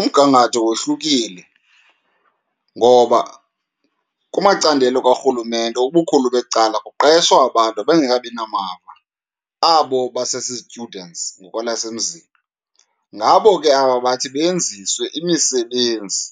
Umgangatho wohlukile ngoba kumacandelo karhulumente, ubukhulu becala kuqeshwa abantu abangekabi namava, abo basezi-students ngokwelasemzini. Ngabo ke aba bathi benziswe imisebenzi